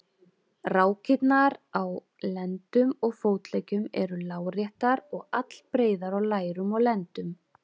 Rákirnar á á lendum og fótleggjum eru láréttar og allbreiðar á lærum og lendum.